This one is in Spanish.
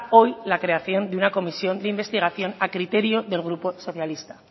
hoy la creación de una comisión de investigación a criterio del grupo socialista